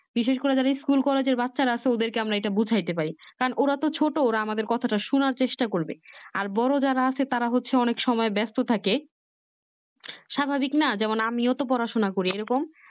বিশেষ করে যারা School collage বাচ্ছারা আসলে আমরা ওদেরকে বুঝাইতে পারি কারণ ওরা তো ছোট ওরা আমাদের কথাটা শুনার চেষ্টা করবে আর বড়ো যারা আছে তারা হচ্ছে অনেক সময় বাস্থ থাকে স্বাভাবিক না যেমন আমিও তো পড়াশোনা করি এরকম